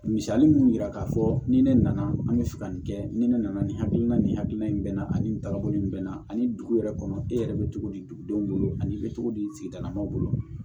Misali mun yira k'a fɔ ni ne nana an bɛ fɛ ka nin kɛ ni ne nana nin hakilina nin hakilina in bɛ n na ani nin tagabolo in bɛ n na ani dugu yɛrɛ kɔnɔ e yɛrɛ bɛ cogo di dugudenw bolo ani i bɛ togo di sigidala mɔgɔw bolo